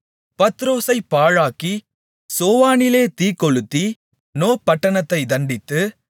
பத்ரோசைப் பாழாக்கி சோவானிலே தீக்கொளுத்தி நோ பட்டணத்தைத் தண்டித்து